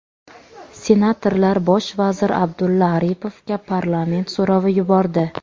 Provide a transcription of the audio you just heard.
Senatorlar bosh vazir Abdulla Aripovga parlament so‘rovi yubordi.